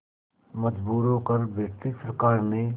मजबूर होकर ब्रिटिश सरकार ने